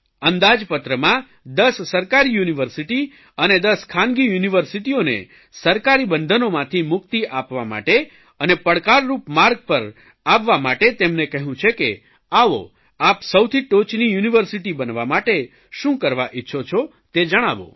અંદાજપત્રમાં દસ સરકારી યુનિવર્સિટી અને દસ ખાનગી યુનિવર્સિટીઓને સરકારી બંધનોથી મુક્તિ આપવા માટે અને પડકારરૂપ માર્ગ પર આવવા માટે તેમને કહ્યું છે કે આવો આપ સૌથી ટોચની યુનિવર્સીટી બનવા માટે શું કરવા ઇચ્છો છો તે જણાવો